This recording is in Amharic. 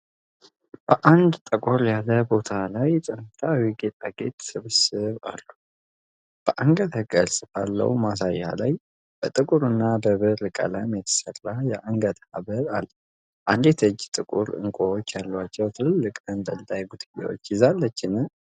በአንድ ጠቆር ያለ ቦታ ላይ የጥንታዊ ጌጣጌጥ ስብስብ አሉ። በአንገት ቅርጽ ባለው ማሳያ ላይ በጥቁር እና በብር ቀለም የተሠራ የአንገት ሐብል አለ። አንዲት እጅ ጥቁር ዕንቁዎች ያሏቸውን ትልልቅ ተንጠልጣይ ጉትቻዎች ይዛለችን?